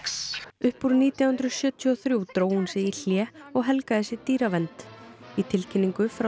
upp úr nítján hundruð sjötíu og þrjú dró hún sig í hlé og helgaði sig dýravernd í tilkynningu frá